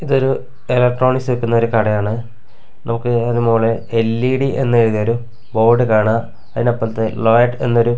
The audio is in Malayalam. ഇതൊരു ഇലക്ട്രോണിക്സ് വിക്കുന്ന ഒരു കടയാണ് മുകളിൽ എൽ_ഇ_ഡി എന്ന് എഴുതിയ ഒരു ബോർഡ് കാണാം അതിനപ്പുറത്ത് മാഡ് എന്നൊരു--